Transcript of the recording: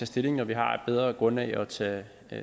stilling når vi har et bedre grundlag at tage